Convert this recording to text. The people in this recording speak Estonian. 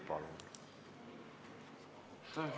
Palun!